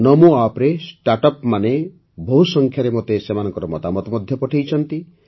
ନମୋ ଆପ୍ରେ ଷ୍ଟାର୍ଟଅପ୍ମାନେ ମଧ୍ୟ ବହୁସଂଖ୍ୟାରେ ମୋତେ ସେମାନଙ୍କ ମତାମତ ପଠାଇଛନ୍ତି